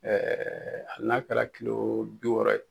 Ɛɛ hali n'a kɛra kilo bi wɔɔrɔ ye.